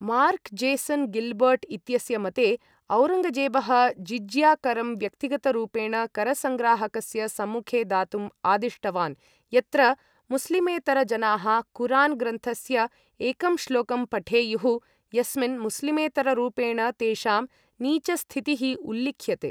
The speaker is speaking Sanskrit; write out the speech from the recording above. मार्क् जेसन् गिल्बर्ट् इत्यस्य मते, औरङ्गजेबः जिज़्या करं व्यक्तिगतरूपेण, करसंग्राहकस्य सम्मुखे दातुं आदिष्टवान्, यत्र मुस्लिमेतर जनाः कुरान् ग्रन्थस्य एकं श्लोकं पठेयुः, यस्मिन् मुस्लिमेतररूपेण तेषां नीचस्थितिः उल्लिख्यते।